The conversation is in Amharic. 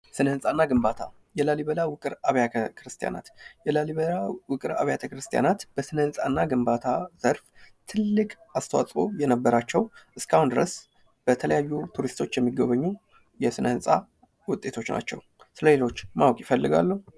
ስነ ህንጻና ግንባታ የላሊበላ ውቅር አብያተክርስቲያናት የላሊበላ ውቅር አብያተ ክርስቲያናት በስነ ህንፃና ግንባታ ዘርፍ ትልቅ አስተዋጽኦ የነበራቸው እስካሁን ድረስ በተለያዩ ቱሪስቶች የሚጎበኙ የስነ ህንፃ ውጤቶች ናቸው። ስለሌሎች ማወቅ ይፈልጋሉ?